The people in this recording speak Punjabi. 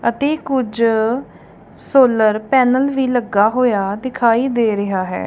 ਅਤੇ ਕੁਝ ਸੋਲਰ ਪੈਨਲ ਵੀ ਲੱਗਾ ਹੋਇਆ ਦਿਖਾਈ ਦੇ ਰਿਹਾ ਹੈ।